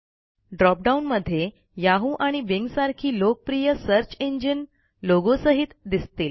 drop डाऊनमध्ये Yahooआणि Bing सारखी लोकप्रिय सर्च इंजिन लोगोसहित दिसतील